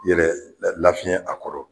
Yɛrɛ lafiyɛn a kɔrɔ